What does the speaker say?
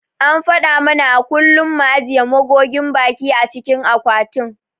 An faɗa mana a kullum mu ajiye magogin baki a cikin akwatin.